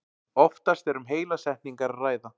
Oftast er um heilar setningar að ræða.